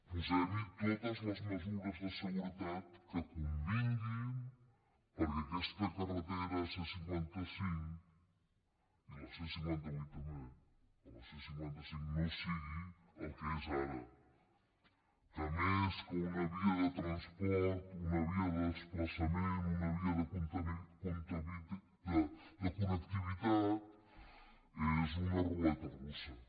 posem·hi totes les mesures de seguretat que convinguin perquè aquesta carretera c·cinquanta cinc i la c·cinquanta vuit també però la c·cinquanta cinc no sigui el que és ara que més que una via de transport una via de des·plaçament una via de connectivitat és una ruleta rus·sa